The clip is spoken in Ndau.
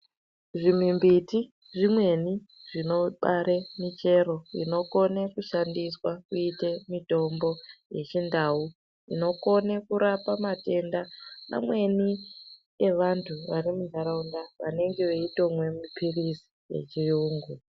Zvimwimbiti zvimweni zvinobare michero inokone kushandiswa kuite mitombo yechindau inokone kurapa matenda mamweni evantu vari muntaraunda vanenge veitomwe mapirizi echiyungu